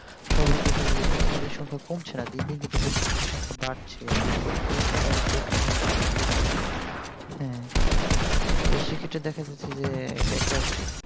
সবাই দেখা যায় প্রতিযোগীর সংখ্যা কমছে না দিন দিন কিন্তু প্রতিযোগির সংখ্যা বাড়ছে এবং পরীক্ষাটা আরো কঠিন হচ্ছে দিন দিন তো সেক্ষেত্রে দেখা যাচ্ছে যে একটা